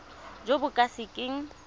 jo bo ka se keng